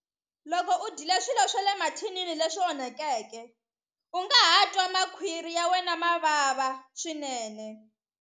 Loko u dyile swilo swa le mathinini leswi onhakeke u nga ha twa makhwiri ya wena ma vava swinene.